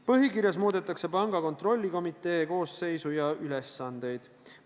Põhikirjas muudetakse panga kontrollikomitee koosseisu ja ülesandeid.